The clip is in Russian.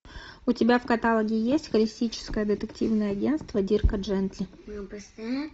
у тебя в каталоге есть холистическое детективное агентство дирка джентли